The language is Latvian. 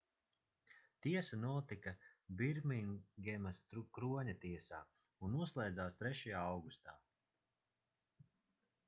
tiesa notika birmingemas kroņa tiesā un noslēdzās 3. augustā